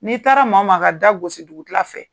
N'i taara maa maa ka da gosi dugukila fɛ